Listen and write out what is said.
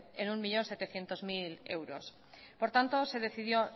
en un millón setecientos mil euros por tanto se decidió